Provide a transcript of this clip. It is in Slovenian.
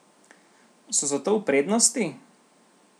So zato v prednosti?